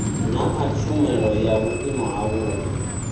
naa tshumelo ya vhuimo havhudi